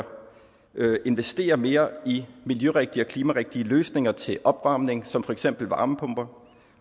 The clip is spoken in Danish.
investere mere i miljørigtige og klimarigtige løsninger til opvarmning som for eksempel varmepumper